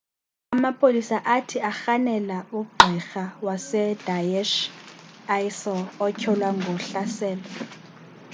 amapolisa athi arhanela ugqirha we-daesh isil otyholwa ngohlaselo